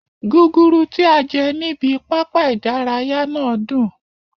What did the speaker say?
Ọ̀pọ̀lọpọ̀ ọ̀pọ̀lọpọ̀ ọ̀pọ̀lọpọ̀